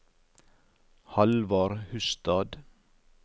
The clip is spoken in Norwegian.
Hallvard Hustad